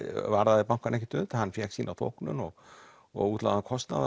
varðaði bankann ekkert um það hann fékk sína þóknun og og útlagðan kostnað